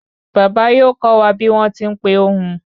Baba yóò kó wa bi won tí n pé ohun